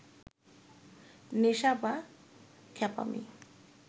নেশা বা খ্যাপামি